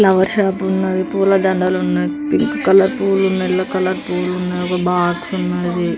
Flower shop ఉన్నది. పూల దండలున్నవి. పింక్ కలర్ పువ్వులు యెల్లో కలర్ పూలున్నవి. ఒక బాక్స్ ఉన్నది.